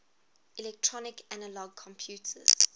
electronic analog computers